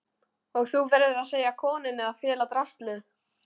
Og þú verður að segja konunni að fela draslið.